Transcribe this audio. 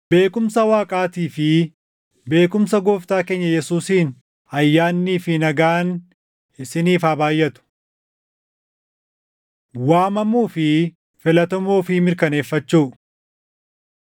Beekumsa Waaqaatii fi beekumsa Gooftaa keenya Yesuusiin ayyaannii fi nagaan isiniif haa baayʼatu. Waamamuu fi Filatamuu Ofii Mirkaneeffachuu